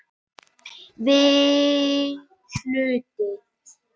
VIII Hluti